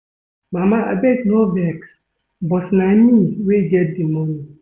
Mama abeg no vex but na me wey get the money